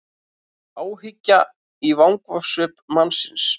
Áhyggja í vangasvip mannsins.